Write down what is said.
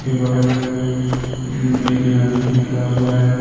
बगल में एक नदी निकला हुआ है।